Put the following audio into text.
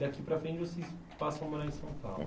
Daqui para frente vocês passam a morar em São Paulo.